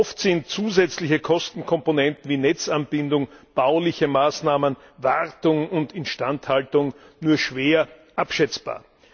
Oft sind zusätzliche Kostenkomponenten wie Netzanbindung, bauliche Maßnahmen, Wartung und Instandhaltung nur schwer abschätzbar.